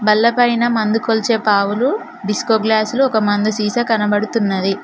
బల్లపైన మందు కొలిచే పావులు డిస్కో గ్లాసులు ఒక మందు సీసా కనబడుతున్నది.